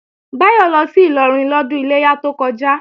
Báyọ̀ lọ sí Ìlọrin lọ́dún Iléyá tó kọjá